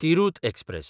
Tirhut express